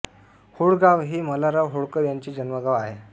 होळ गाव हे मल्हारराव होळकर ह्यांचे जन्मगाव आहे